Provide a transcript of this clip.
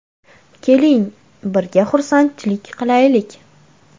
Keling, birga xursandchilik qilaylik.